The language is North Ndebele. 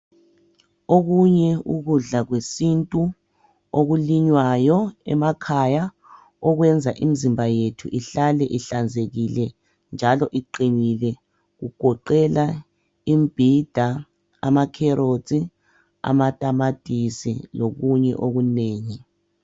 Okunye ukudla kwesintu okulinywayo emakhaya okwenza imizimba yethu ihlale ihlanzekile njalo iqinile kugoqela imbhida amakherothi amatamatisi lokunye okunengi.